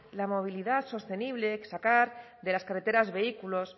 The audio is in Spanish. la movilidad sostenible sacar de las carreteras vehículos